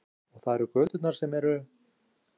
Kristján Már: Og það eru göturnar sem eru?